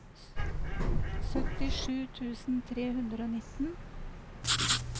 syttisju tusen tre hundre og nitten